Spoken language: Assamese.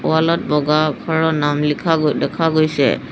ৱাল ত বগা আখৰৰ নাম লিখা গৈ দেখা গৈছে।